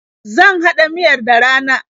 Zan haɗa miyar da rana.